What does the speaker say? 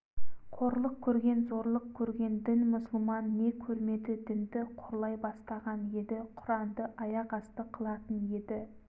қорлық көрген зорлық көрген дін мұсылман не көрмеді дінді қорлай бастаған еді құранды аяқасты қылатын еді